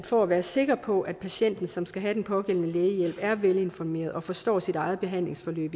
for at være sikker på at patienten som skal have den pågældende lægehjælp er velinformeret og forstår sit eget behandlingsforløb